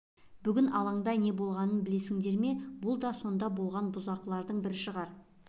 бүгін алаңда не болғанын білесіңдер ме бұл да сонда барған бұзақының бір шығар